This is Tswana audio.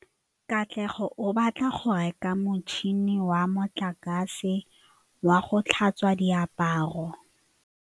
Katlego o batla go reka motšhine wa motlakase wa go tlhatswa diaparo.